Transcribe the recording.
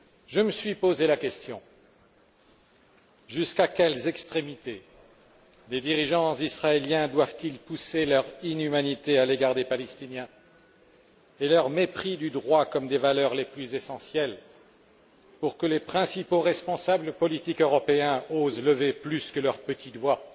Je me suis posé la question jusqu'à quelles extrémités les dirigeants israéliens doivent ils pousser leur inhumanité à l'égard des Palestiniens et leur mépris du droit et des valeurs les plus essentielles pour que les responsables politiques européens osent lever plus que le petit doigt